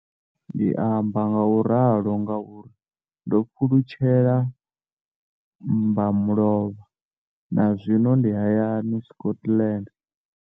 Ndi amba ngauralo nga uri ndo pfulutshela mbamulovha na zwino ndi hayani, Scotland.